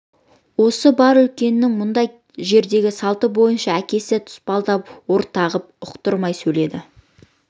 осы бар үлкеннің мұндай жердегі салты бойынша әкесі де тұспалдап орағытып ұқтырмай сөйлейді